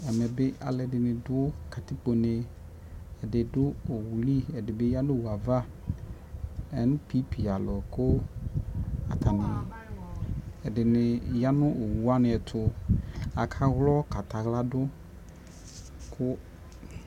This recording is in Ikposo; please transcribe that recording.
ɛmɛ bi alo ɛdini do katikpone ɛdi do owu li ɛdi bi ya no owu ava npp alo ko atani ɛdini ya no owu wani ɛto aka wlɔ ka tɛ ala do ko